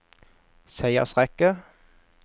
seiersrekke